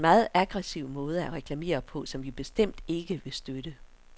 Det er en meget aggressiv måde at reklamere på, som vi bestemt ikke vil støtte.